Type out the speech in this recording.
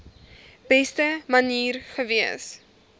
beste manier gewees